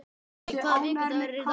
Polly, hvaða vikudagur er í dag?